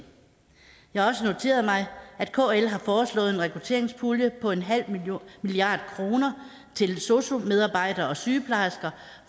jeg har også noteret mig at kl har foreslået en rekrutteringspulje på en halv milliard kroner til sosu medarbejdere og sygeplejersker